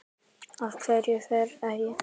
Af hverju ferðu ekki?